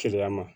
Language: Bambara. Keleya ma